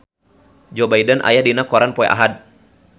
Joe Biden aya dina koran poe Ahad